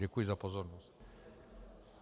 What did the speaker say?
Děkuji za pozornost.